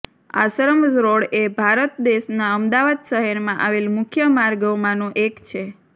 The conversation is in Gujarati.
આશ્રમ રોડ એ ભારત દેશના અમદાવાદ શહેરમાં આવેલ મુખ્ય માર્ગોમાંનો એક છે